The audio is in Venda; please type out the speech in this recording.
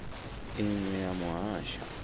i ṅ we ya muhasho